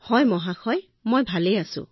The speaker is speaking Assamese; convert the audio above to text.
মহোদয় মই ভালে আছো